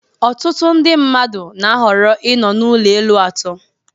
Ọtụtụ ndị mmadụ na-ahọrọ ịnọ n'ụlọ elu atọ